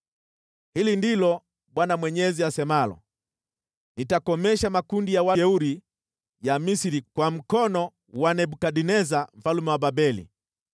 “ ‘Hili ndilo Bwana Mwenyezi asemalo: “ ‘Nitakomesha makundi ya wajeuri ya Misri kwa mkono wa Nebukadneza mfalme wa Babeli.